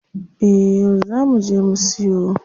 Eh yau zaa muje mu siyo.